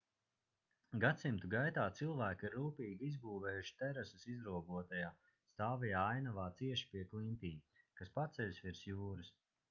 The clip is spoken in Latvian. gadsimtu gaitā cilvēki ir rūpīgi izbūvējuši terases izrobotajā stāvajā ainavā cieši pie klintīm kas paceļas virs jūras